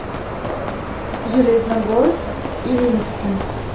железногорск илимский